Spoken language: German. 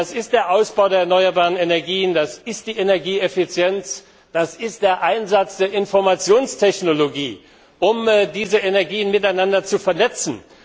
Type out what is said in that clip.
Und zwar durch den Ausbau der erneuerbaren Energien, durch Energieeffizienz, durch den Einsatz der Informationstechnologie, um diese Energien miteinander zu vernetzen.